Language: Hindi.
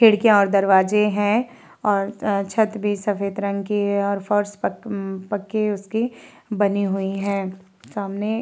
खिडकियाॅं और दरवाजे हैं और छत भी सफ़ेद रंग की है और फर्श पक पक्की उसकी बनी हुई है सामने --